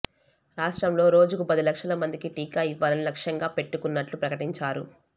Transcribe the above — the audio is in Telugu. రాష్ట్రంలో రోజుకు పది లక్షల మందికి టీకా ఇవ్వాలని లక్ష్యంగా పెట్టుకున్నట్లు ప్రకటించారు